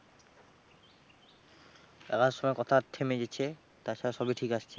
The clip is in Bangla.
যাবার সময় কথা থেমে গেছে তাছাড়া সবই ঠিকই আসছে।